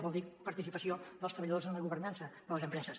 vol dir participació dels treballadors en la governança de les empreses